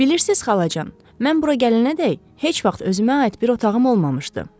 Bilirsiz, xalacan, mən bura gələnədək heç vaxt özümə aid bir otağım olmamışdı.